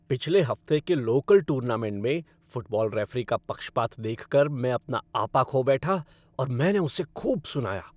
पिछले हफ्ते के लोकल टूर्नामेंट में फ़ुटबॉल रेफ़री का पक्षपात देखकर मैं अपना आपा खो बैठा और मैंने उसे खूब सुनाया।